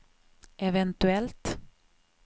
eventuellt